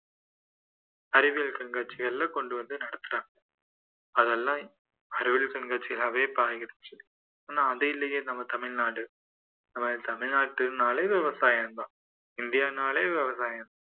அறிவியல் கண்காட்சிகள்ல கொண்டுவந்து நடத்துறாங்க அதெல்லாம் அறிவியல் கண்காட்சியாவே இப்போ ஆயிருச்சு ஆனால் அது இல்லையே நம்ம தமிழ்நாடு நம்ம தமிழ்நாட்டுனாலே விவசாயம் தான் இந்தியானாலே விவசாயம் தான்